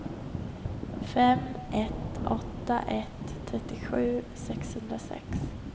fem ett åtta ett trettiosju sexhundrasex